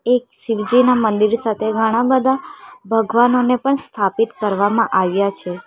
એક શિવજીના મંદિર સાથે ઘણા બધા ભગવાનોને પણ સ્થાપિત કરવામાં આવ્યા છે.